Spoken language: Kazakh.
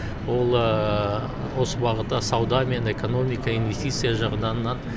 ол осы бағытта сауда мен экономика инвестиция жағынан